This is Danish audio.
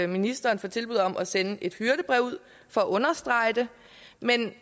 ministeren for tilbuddet om at sende et hyrdebrev ud for at understrege det men